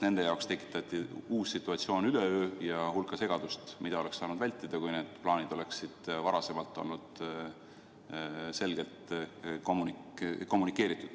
Nende jaoks tekitati üleöö uus situatsioon ja hulk segadust, mida oleks saanud vältida, kui need plaanid oleksid varem olnud selgelt kommunikeeritud.